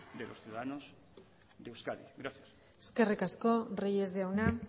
de los ciudadanos de euskadi gracias eskerrik asko reyes jauna